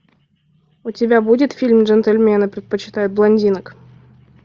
у тебя будет фильм джентльмены предпочитают блондинок